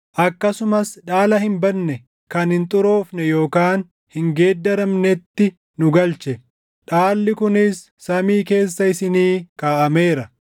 akkasumas dhaala hin badne, kan hin xuroofne yookaan hin geeddaramnetti nu galche; dhaalli kunis samii keessa isinii kaaʼameera;